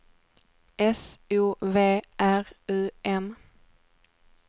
S O V R U M